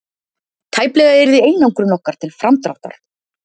Tæplega yrði einangrun okkur til framdráttar